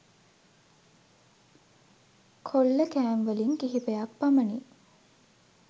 කොල්ලකෑම්වලින් කිහිපයක් පමණි